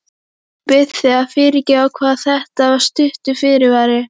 Ég bið þig að fyrirgefa hvað þetta er stuttur fyrirvari.